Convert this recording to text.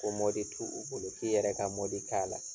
Ko t'u u bolo k'i yɛrɛ ka k'a la.